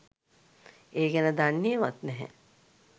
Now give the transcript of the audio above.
ඒ ගැන දන්නේවත් නැහැ.